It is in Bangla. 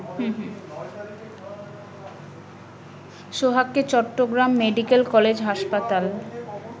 সোহাগকে চট্টগ্রাম মেডিকেল কলেজ হাসপাতাল